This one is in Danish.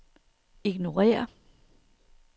ignorér